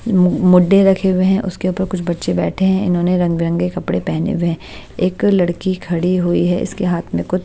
मुडे रखे हुए हैं उसके ऊपर कुछ बच्चे बैठे हैं इन्होंने रंग बिरंगे कपड़े पहने हुए है एक लड़की खड़ी हुई है इसके हाथ में कुछ--